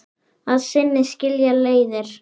Að sinni skilja leiðir.